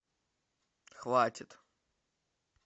хватит